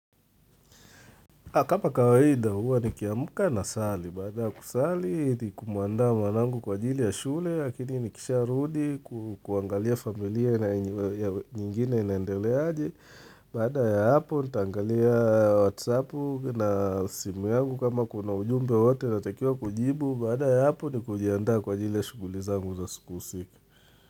Akapa kawaida huwa nikiamka nasali, baada ya kusali ni kumuandaa mwanangu kwa ajili ya shule, lakini nikisharudi kuangalia familia nyingine inaendeleaje, baada ya hapo nitaangalia WhatsApp na simu yangu kama kuna ujumbe wote natakiwa kujibu, baada ya hapo ni kujiandaa kwa ajili ya shughuli zangu za usiku usiku.